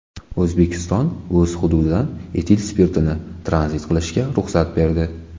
O‘zbekiston o‘z hududidan etil spirtini tranzit qilishga ruxsat berdi.